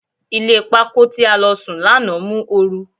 Ilé pákó tí a lọ sùn lánàá mú oru.